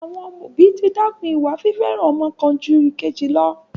Àwọn òbí ti dẹ́kun ìwà fífẹ́ràn ọmọ kan jú ìkejì lọ.